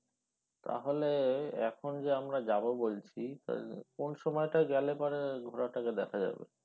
তাহলে এখন যে আমরা যাব বলছি কোন সময়টা গেলে পরে ঘোড়াটাকে দেখা যাবে?